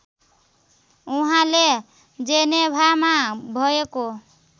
उहाले जेनेभामा भएको